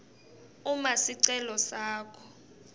uma sicelo sakho